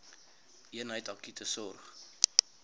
eenheid akute sorg